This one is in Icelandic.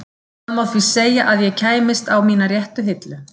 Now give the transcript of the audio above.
Það má því segja að ég kæmist á mína réttu hillu.